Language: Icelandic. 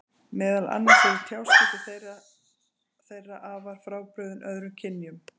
Meðal annars eru tjáskipti þeirra þeirra afar frábrugðin öðrum kynjum.